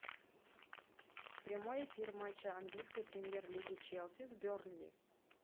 прямой эфир матча английской премьер лиги челси с бернли